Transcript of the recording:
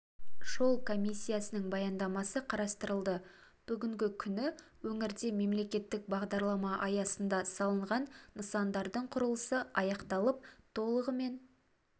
жол комиссиясының баяндамасы қарастырылды бүгінгі күні өңірде мемлекеттік бағдарлама аясында салынған нысандардың құрылысы аяқталып толығымен